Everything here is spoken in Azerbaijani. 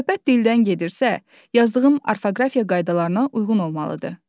Söhbət dildən gedirsə, yazdığım orfoqrafiya qaydalarına uyğun olmalıdır.